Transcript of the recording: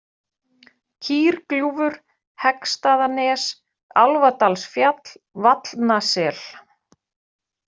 Kýrgljúfur, Heggsstaðanes, Álfadalsfjall, Vallnasel